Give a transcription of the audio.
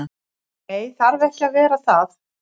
Nei, það þarf ekki að vera það.